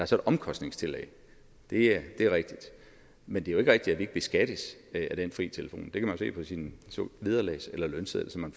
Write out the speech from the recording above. så et omkostningstillæg det er rigtigt men det er jo ikke rigtigt at vi ikke beskattes af den fri telefon det kan man jo se på sin vederlags eller lønseddel som man